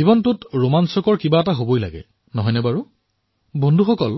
জীৱনত অভিযান থাকিব লাগে নে নালাগে অৱশ্যে বন্ধুসকল